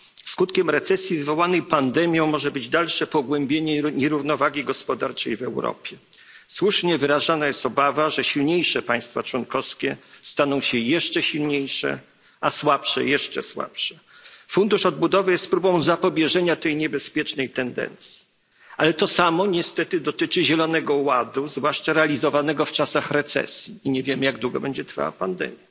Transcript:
Skutkiem recesji wywołanej pandemią może być dalsze pogłębienie nierównowagi gospodarczej w Europie. Słusznie wyrażana jest obawa, że silniejsze państwa członkowskie staną się jeszcze silniejsze, a słabsze jeszcze słabsze. Fundusz Odbudowy jest próbą zapobieżenia tej niebezpiecznej tendencji, ale to samo niestety dotyczy Zielonego Ładu, zwłaszcza realizowanego w czasach recesji, i nie wiemy, jak długo będzie trwała pandemia.